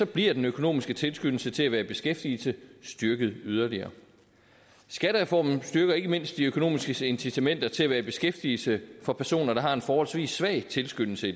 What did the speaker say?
bliver den økonomiske tilskyndelse til at være i beskæftigelse styrket yderligere skattereformen styrker ikke mindst de økonomiske incitamenter til at være i beskæftigelse for personer der har en forholdsvis svag tilskyndelse i